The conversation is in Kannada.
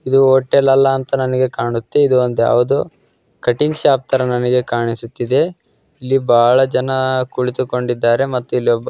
ಇದು ಹೋಟೆಲ್ ಅಲ್ಲ ಅಂತ ನನಿಗೆ ಕಾಣುತ್ತೆ. ಇದು ಒಂದು ಯಾವುದೋ ಕಟಿಂಗ್ ಶಾಪ್ ತರ ನನಿಗೆ ಕಾಣಿಸುತ್ತಿದೆ. ಇಲ್ಲಿ ಬಹಳ ಜನ ಕುಳಿತುಕೊಂಡಿದ್ದಾರೆ ಮತ್ತು ಇಲ್ಲಿ--